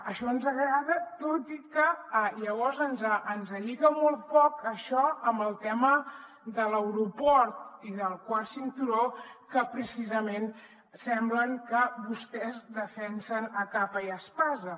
això ens agrada tot i que llavors ens lliga molt poc això amb el tema de l’aeroport i del quart cinturó que precisament sembla que vostès defensen a capa i espasa